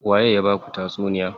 Waye ya baku tatsuniya?